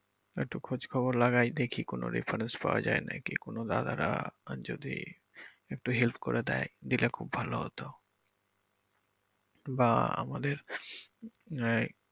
একটু খোজ খবর লাগাই দেখি কোন reference পাওয়া যায় নাকি কোন দাদারা যদি একটু help করে দেয় যেটা খুব ভালো হতো বা আমাদের আহ